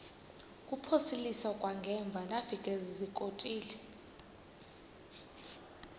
kuphosiliso kwangaemva ndafikezizikotile